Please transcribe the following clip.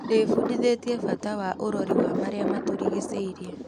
Ndĩbundithĩtie kbata wa ũrori wa marĩa matũrigicĩirie.